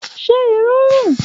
Ṣe iru run?